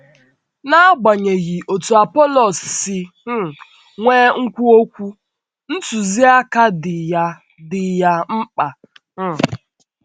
N’agbanyeghị otú Apọlọs si um nwee nkwu okwu, ntụziaka dị ya dị ya mkpa. um